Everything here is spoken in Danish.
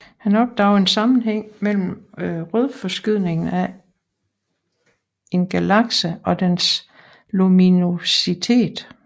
Han opdagede en sammenhæng mellem rødforskydningen af en galakse og dens luminositet